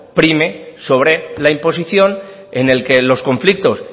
prime sobre la imposición en el que los conflictos